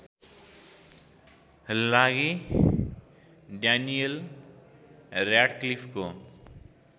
लागि ड्यानियल र्‍याडक्लिफको